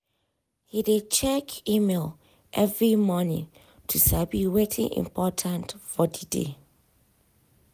he dey check email every morning to sabi wetin important for the day.